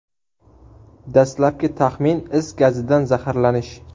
Dastlabki taxmin is gazidan zaharlanish.